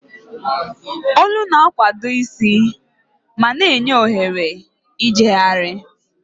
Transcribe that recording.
Olu na-akwado isi ma na-enye ohere ijegharị.